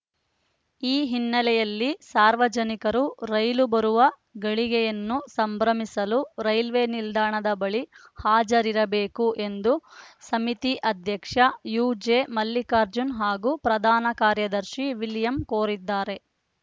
ಈ ಹಿನ್ನೆಲೆಯಲ್ಲಿ ಸಾರ್ವಜನಿಕರು ರೈಲು ಬರುವ ಗಳಿಗೆಯನ್ನು ಸಂಭ್ರಮಿಸಲು ರೈಲ್ವೆ ನಿಲ್ದಾಣದ ಬಳಿ ಹಾಜರಿರಬೇಕು ಎಂದು ಸಮಿತಿ ಅಧ್ಯಕ್ಷ ಯುಜೆ ಮಲ್ಲಿಕಾರ್ಜುನ್‌ ಹಾಗೂ ಪ್ರಧಾನ ಕಾರ್ಯದರ್ಶಿ ವಿಲಿಯಂ ಕೋರಿದ್ದಾರೆ